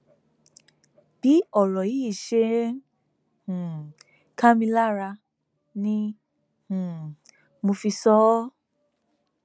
bí ọrọ yìí ṣe ń um ká mi lára ni um mo fi sọ ọ